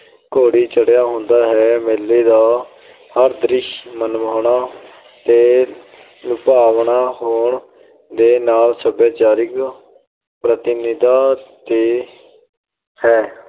ਘੋੜੀ ਚੜਿਆ ਹੁੰਦਾ ਹੈ। ਮੇਲੇ ਦਾ ਹਰ ਦ੍ਰਿਸ਼ ਮਨਮੋਹਣਾ ਤੇ ਲੁਭਾਵਣਾ ਹੋਣ ਦੇ ਨਾਲ ਸੱਭਿਆਚਾਰਿਕ ਪ੍ਰਤੀਨਿਧਤਾ ਤੇ ਹੈ।